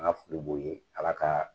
An ka foli b'o ye Ala ka